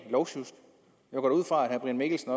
går da ud fra at herre brian mikkelsen